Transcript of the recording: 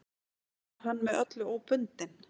Var hann með öllu óbundinn.